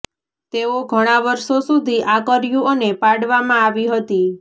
તેઓ ઘણા વર્ષો સુધી આ કર્યું અને પાડવામાં આવી હતી